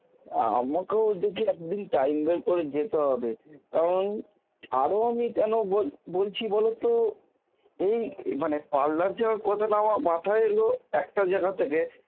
আমাকেও দেখি একদিন time বের করে যেতে হবে, কারণ আরো আমি কেন বল~বলছি বলতো এই মানে parlour যাওয়ার কথাটা আমার মাথায় এলো একটা জায়গা থেকে